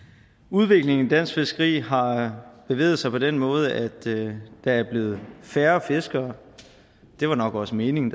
udviklingen i dansk fiskeri har bevæget sig på den måde at der er blevet færre fiskere og det var nok også meningen